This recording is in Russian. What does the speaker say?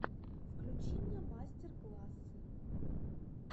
включи мне мастер классы